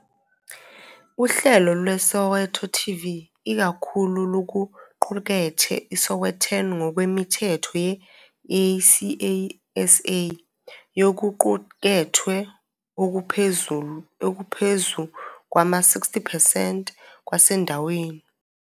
Uhlelo lweSoweto TV ikakhulu lukuqukethe iSowetan ngokwemithetho ye-ICASA yokuqukethwe okungaphezu kwama-60 percent kwasendaweni.